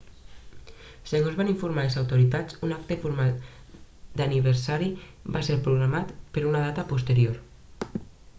segons van informar les autoritats un acte formal d'aniversari va ser programat per a una data posterior